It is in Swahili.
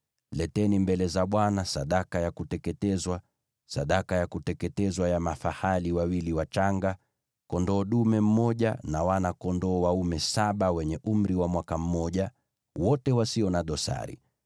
Leteni mbele za Bwana sadaka ya kuteketezwa, sadaka ya kuteketezwa ya mafahali wawili wachanga, kondoo dume mmoja na wana-kondoo dume saba wenye umri wa mwaka mmoja, wote wasio na dosari.